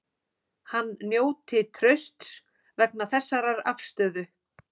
Hann njóti trausts vegna þessarar afstöðu